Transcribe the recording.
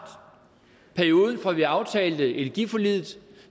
perioden fra vi aftalte energiforliget